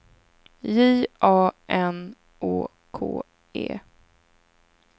J A N Å K E